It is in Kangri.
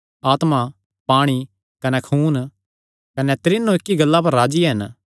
आत्मा पाणी कने खून कने त्रीनो इक्की गल्ला पर राज्जी हन